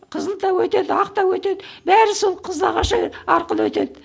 қызыл да өтеді ақ та өтеді бәрі сол қызылағаш ы арқылы өтеді